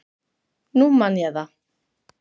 Nú man ég það.